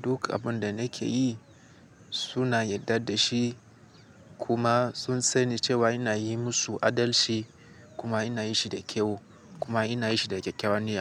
Duk abun da nake yi suna yarda da shi kuma sun sani cewa ina yi musu adalci kuma ina yi shi da kyau kuma ina yi shi da kyakkyawan niyya.